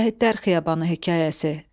Şəhidlər Xiyabanı hekayəsi.